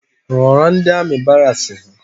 Rọrọ ndi amị baraks ha